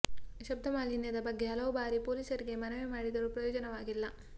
ಶಬ್ದ ಮಾಲಿನ್ಯದ ಬಗ್ಗೆ ಹಲವು ಬಾರಿ ಪೊಲೀಸರಿಗೆ ಮನವಿ ಮಾಡಿದರೂ ಪ್ರಯೋಜನವಾಗಿಲ್ಲ